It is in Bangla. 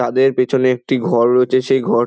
তাদের পেছনে একটি ঘর রয়েছে সেই ঘর--